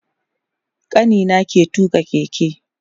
Kanina ke tuƙa keke